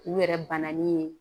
U yɛrɛ bananni ye